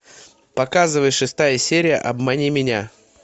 показывай шестая серия обмани меня